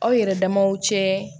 Aw yɛrɛ damaw cɛ